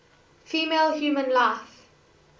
female human life